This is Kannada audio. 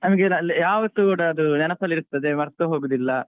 ನಮಗೆ ಯಾವತ್ತೂ ಕೂಡ ಅದು ನೆನಪಲ್ಲಿರ್ತದೆ ಮರ್ತ್ ಹೋಗುದಿಲ್ಲ.